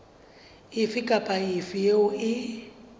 efe kapa efe eo e